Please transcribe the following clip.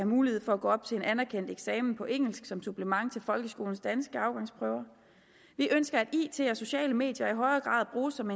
mulighed for at gå op til en anerkendt eksamen på engelsk som supplement til folkeskolens danske afgangsprøver vi ønsker at it og sociale medier i højere grad bruges som